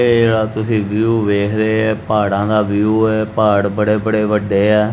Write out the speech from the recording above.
ਇਹ ਜਿਹੜਾ ਤੁਸੀਂ ਵਿਊ ਵੇਖ ਰਹੇ ਹੈ ਇਹ ਪਹਾੜਾਂ ਦਾ ਵਿਊ ਹੈ ਪਹਾੜ ਬੜੇ ਬੜੇ ਵੱਡੇ ਐ।